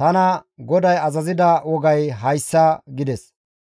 tana GODAY azazida wogay hayssa» gides.